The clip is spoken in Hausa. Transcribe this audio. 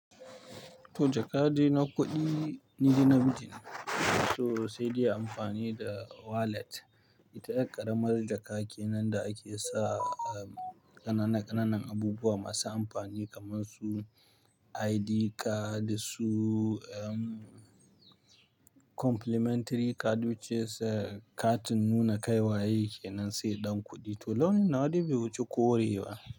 To jakabde na kuɗi ni de nafi jin to sai dai amfani da wallet. Ita yar ƙaramar jaka kenan da ake sa, ƙanana-ƙananan abubuwa masu amfani kamar su ID card su, um, complimentary card sa katin nuna kai waye kenan sai ɗan kuɗi. To launin nawa de bai wuci korewa ba.